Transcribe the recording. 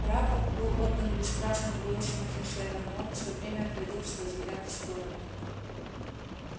рапорт был отдан бесстрастным голосом офицера но он все время отводил свой взгляд в сторону